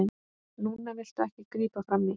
Núna viltu ekki grípa frammí.